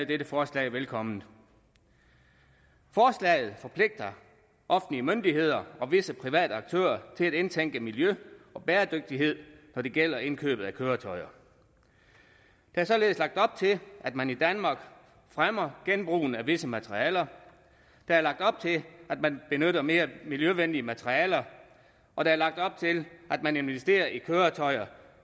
dette forslag velkommen forslaget forpligter offentlige myndigheder og visse private aktører til at indtænke miljø og bæredygtighed når det gælder indkøb af køretøjer der er således lagt op til at man i danmark fremmer genbrug af visse materialer der er lagt op til at man benytter mere miljøvenlige materialer og der er lagt op til at man investerer i køretøjer